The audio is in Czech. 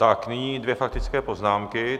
Tak nyní dvě faktické poznámky.